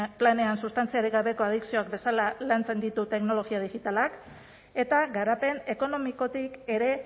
planean substantziarik gabeko adikzioak bezala lantzen ditu teknologia digitalak eta garapen ekonomikotik ere